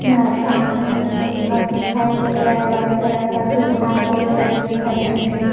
यह सामने मे एक घर दिखाई दे रहा है व्हाइट कलर का कुछ घास वागेरा भी दिखाई बीच मे --